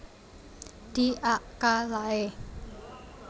Di ak ka lae